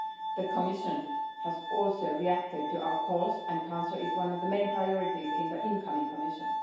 The Commission has also reacted to our calls and cancer is one of the main priorities in the incoming Commission.